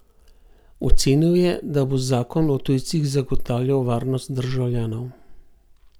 Ocenil je, da bo zakon o tujcih zagotavljal varnost državljanov.